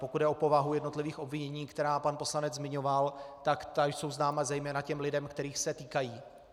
Pokud jde o povahu jednotlivých obvinění, která pan poslanec zmiňoval, tak ta jsou známa zejména těm lidem, kterých se týkají.